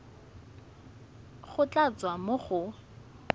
go tla tswa mo go